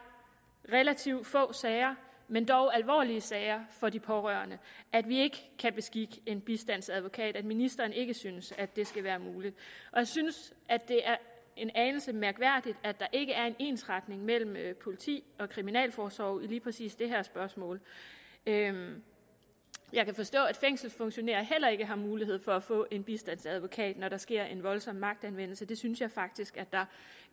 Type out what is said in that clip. relativt få sager men dog alvorlige sager for de pårørende at vi ikke kan beskikke en bistandsadvokat og at ministeren ikke synes at det skal være muligt jeg synes det er en anelse mærkværdigt at der ikke er en ensretning mellem politi og kriminalforsorg lige præcis i det her spørgsmål jeg jeg kan forstå at fængselsfunktionærer heller ikke har mulighed for at få en bistandsadvokat når der sker en voldsom magtanvendelse det synes jeg faktisk der